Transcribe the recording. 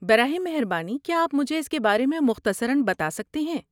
براہ مہربانی کیا آپ مجھے اس کے بارے میں مختصراً بتا سکتے ہیں؟